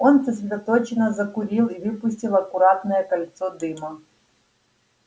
он сосредоточенно закурил и выпустил аккуратное кольцо дыма